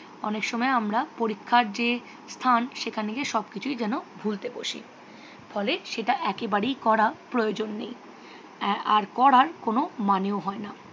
অনেক সময় আমরা পরীক্ষার যে স্থান সেখানে গিয়ে সবকিছুই যেন ভুলতে বসি। ফলে সেটা একেবারেই করা প্রয়োজন নেই। হ্যাঁ আর করার কোনও মানেও হয়না।